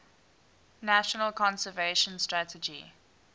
national conservation strategy